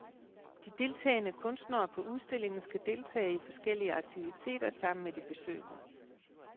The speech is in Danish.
De deltagende kunstnere på udstillingen skal deltage i forskellige aktiviter sammen med de besøgende.